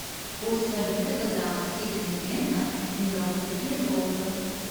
курс валюты казахский тенге на сингапурские доллары